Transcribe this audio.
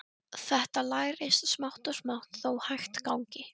Þetta lærist smátt og smátt þó hægt gangi.